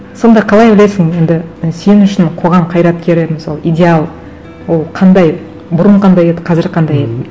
сонда қалай ойлайсың енді сен үшін қоғам қайраткері мысалы идеал ол қандай бұрын қандай еді қазір қандай еді